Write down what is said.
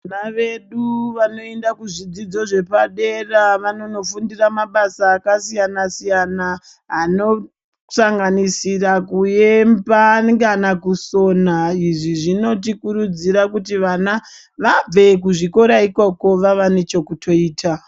Vana vedu vanoenda kuzvidzidzo zvepadera vanonofundira mabasa akasiyana-siyana anosanganisira kuemba kana kusona. Izvi zvinotikurudzira kuti vana vabve kuzvikora ikoko vave nechekutoita.